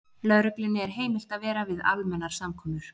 Lögreglunni er heimilt að vera við almennar samkomur.